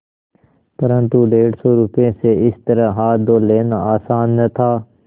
परन्तु डेढ़ सौ रुपये से इस तरह हाथ धो लेना आसान न था